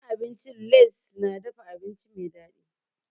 Gidan abincin Lace na dafa abinci mai dadi.